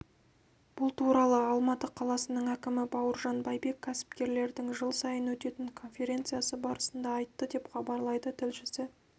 бұл туралы алматы қаласының әкімі бауыржан байбек кәсіпкерлердіңжыл сайын өтетін конференциясы барысында айтты деп хабарлайды тілшісі